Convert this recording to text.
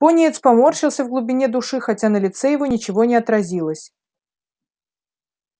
пониетс поморщился в глубине души хотя на лице его ничего не отразилось